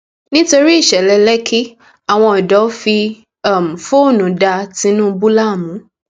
nítorí ìṣẹlẹ lẹkì àwọn àwọn ọdọ fi um fóònù da tìǹbù láàmú